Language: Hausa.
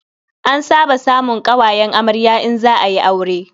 An saba samun ƙawayen amarya in za a yi aure.